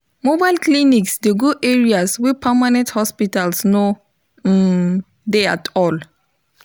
mobile clinics dey go areas wey permanent hosptials no um dey at all